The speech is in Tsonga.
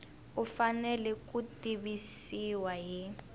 u fanele ku tivisiwa hi